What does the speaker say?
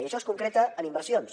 i això es concreta en inversions